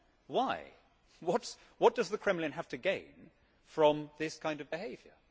Why? What does the Kremlin have to gain from this kind of behaviour?